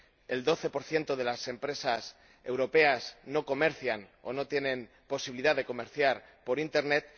el 12 de las empresas europeas no comercian o no tienen posibilidad de comerciar por internet